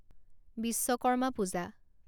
Vishwakarma Puja